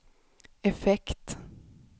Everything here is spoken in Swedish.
effekt